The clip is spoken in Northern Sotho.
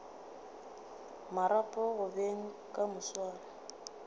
marapo go beng ka moswane